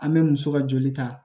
An bɛ muso ka joli ta